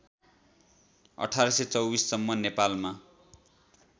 १८२४ सम्म नेपालमा